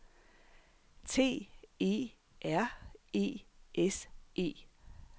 T E R E S E